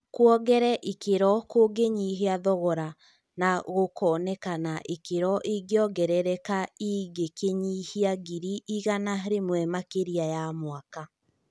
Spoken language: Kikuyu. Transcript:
Kuongere ikĩro kũngĩnyihia thogora na gũkonekana ikĩro ĩngĩongereka ingĩkinyia ngiri igana rĩmwe makĩria ya mwaka.